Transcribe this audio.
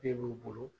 Den b'u bolo